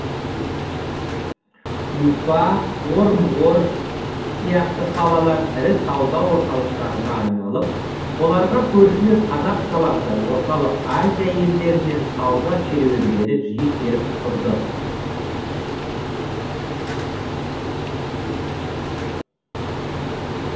уфа орынбор сияқты қалалар ірі сауда орталықтарына айналып оларға көршілес қазақ даласы орталық азия елдерінен сауда керуендері жиі келіп тұрды